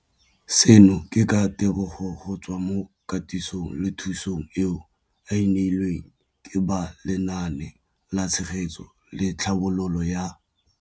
Seno ke ka ditebogo go tswa mo katisong le thu song eo a e neilweng ke ba Lenaane la Tshegetso le Tlhabololo ya.